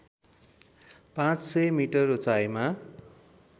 पाँचसय मिटर उचाइमा